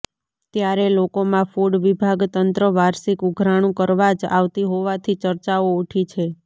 ત્યારે લોકોમાં ફૂડ વિભાગ તંત્ર વાર્ષિક ઉઘરાણુ કરવા જ આવતી હોવાથી ચર્ચાઓ ઉઠી છે